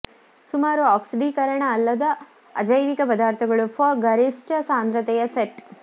ಸುಮಾರು ಆಕ್ಸಿಡೀಕರಣ ಅಲ್ಲದ ಅಜೈವಿಕ ಪದಾರ್ಥಗಳು ಫಾರ್ ಗರಿಷ್ಟ ಸಾಂದ್ರತೆಯ ಸೆಟ್